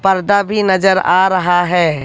पर्दा भी नजर आ रहा है।